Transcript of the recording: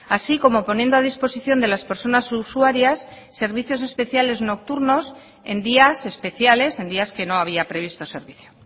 así como poniendo a disposición de las personas usuarias servicios especiales nocturnos en días especiales en días que no había previsto servicio